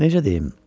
Necə deyim?